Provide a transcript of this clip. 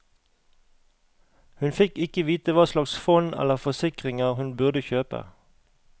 Hun fikk ikke vite hva slags fond eller forsikringer hun burde kjøpe.